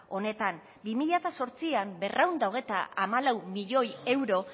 honetan bi mila zortzian berrehun eta hogeita hamalau milioi euro